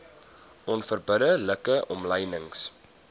onverbidde like omlynings